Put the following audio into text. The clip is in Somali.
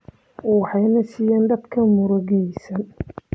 Waxay nasiyaan dadka murugaysan.